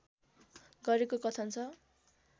गरेको कथन छ